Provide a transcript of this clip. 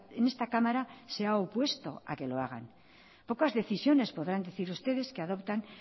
en esta cámara se ha opuesto a que lo hagan pocas decisiones podrán decir ustedes que adoptan